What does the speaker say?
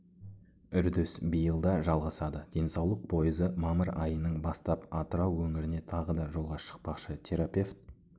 үрдіс биылда жалғасады денсаулық пойызы мамыр айының бастап атырау өңіріне тағы да жолға шықпақшы терапевт